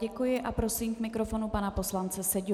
Děkuji a prosím k mikrofonu pana poslance Seďu.